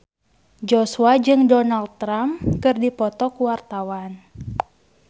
Joshua jeung Donald Trump keur dipoto ku wartawan